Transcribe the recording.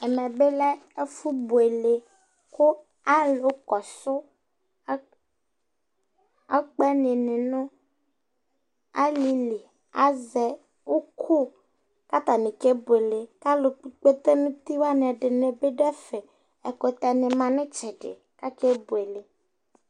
ɛmɛ bi lɛ ɛfu buele kò alo kɔsu ɔkpɛni ni no alili azɛ òkò k'atani kebuele k'alo kpɔ ikpete n'uti wani ɛdini bi do ɛfɛ ɛkutɛ ni ma n'itsɛdi k'ake buele